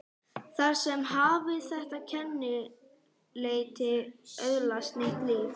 Þar með hafði þetta kennileiti öðlast nýtt líf.